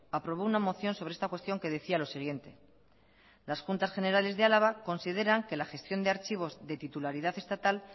aprobó una moción sobre esta cuestión que decía lo siguiente las juntas generales de álava consideran que la gestión de archivos de titularidad estatal